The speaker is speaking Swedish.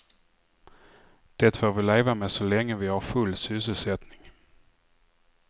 Det får vi leva med så länge vi har full sysselsättning.